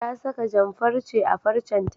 Ta saka jan-farce a farcenta.